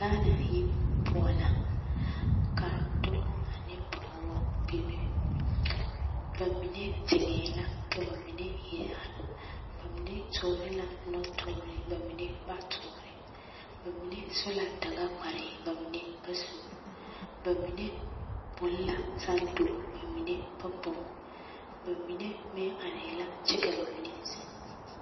Gaana heebu poɔ la ka dɔbɔ ane pɔgebɔ bebe, bamine zeŋɛɛ la ka bamine iri are, bamine toore la nɔtoore bamine ba toore, bamine su la Dagakpare bamine ba su, bamine poŋ la santo bamine ba poŋ, bamine meŋ arɛɛ la kyɛ ka bamine zeŋ.